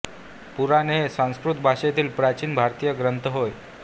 पुराणे हे संस्कृत भाषेतील प्राचीन भारतीय ग्रंथ होत